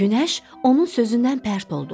Günəş onun sözündən pərt oldu.